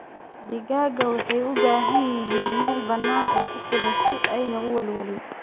Digaagga waxay u baahan yihiin meel bannaan oo ku filan si aanay u welwelin.